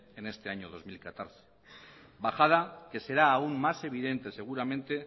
en este año dos mil catorce bajada que será aún más evidente seguramente